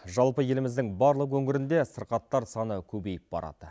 жалпы еліміздің барлық өңірінде сырқаттар саны көбейіп барады